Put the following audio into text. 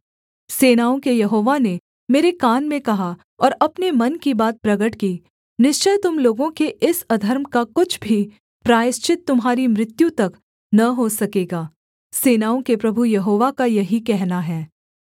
सेनाओं के यहोवा ने मेरे कान में कहा और अपने मन की बात प्रगट की निश्चय तुम लोगों के इस अधर्म का कुछ भी प्रायश्चित तुम्हारी मृत्यु तक न हो सकेगा सेनाओं के प्रभु यहोवा का यही कहना है